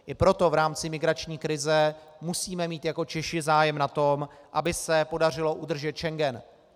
I proto v rámci migrační krize musíme mít jako Češi zájem na tom, aby se podařilo udržet Schengen.